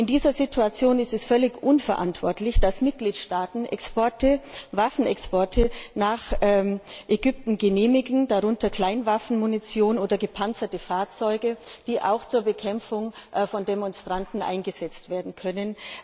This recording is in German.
In dieser Situation ist es völlig unverantwortlich, dass Mitgliedstaaten Exporte Waffenexporte nach Ägypten genehmigen, darunter Kleinwaffenmunition oder gepanzerte Fahrzeuge, die auch zur Bekämpfung von Demonstranten eingesetzt werden können.